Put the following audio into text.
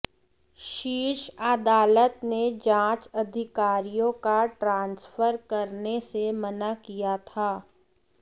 शीर्ष अदालत ने जांच अधिकारियों का ट्रांसफर करने से मना किया था